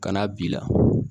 Kan'a b'i la